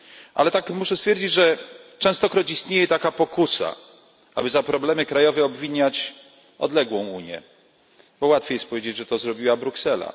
Ale muszę stwierdzić, że częstokroć istnieje taka pokusa, aby za problemy krajowe obwiniać odległą Unię, bo łatwiej jest powiedzieć, że to zrobiła Bruksela.